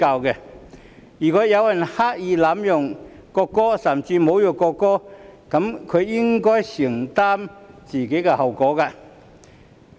如果有人刻意濫用國歌，甚至侮辱國歌，這樣他便應該承擔自己行為造成的後果。